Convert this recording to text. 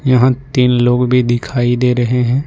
यहां तीन लोग भी दिखाई दे रहे हैं।